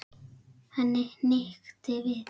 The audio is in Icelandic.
Henni hnykkti við.